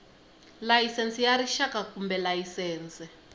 layisense ya rixaka kumbe layisense